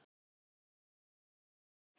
Nú kemurðu með okkur